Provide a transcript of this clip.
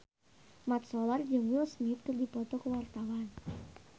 Mat Solar jeung Will Smith keur dipoto ku wartawan